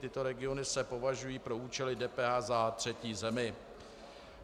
Tyto regiony se považují pro účely DPH za třetí zemi.